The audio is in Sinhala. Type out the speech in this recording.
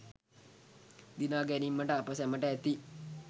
දිනා ගැනීමට අප සැමට ඇති